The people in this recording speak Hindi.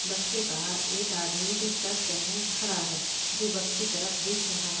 बस के बाहर एक आदमी की शर्ट पहने खड़ा है जो बस की तरफ देख रहा है।